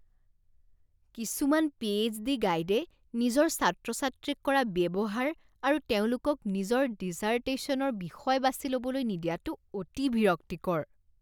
কিছুমান P H D গাইডে নিজৰ ছাত্ৰ ছাত্ৰীক কৰা ব্যৱহাৰ আৰু তেওঁলোকক নিজৰ ডিচাৰ্টেশ্যনৰ বিষয় বাছি ল'বলৈ নিদিয়াটো অতি বিৰক্তিকৰ।